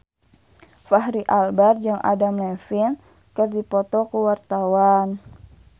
Fachri Albar jeung Adam Levine keur dipoto ku wartawan